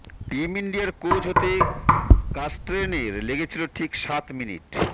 team ইন্ডিয়ার coach হতে কার্স্টেনের লেগেছিল ঠিক সাত মিনিট